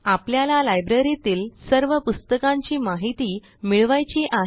आपल्याला लायब्ररीतील सर्व पुस्तकांची माहिती मिळवायची आहे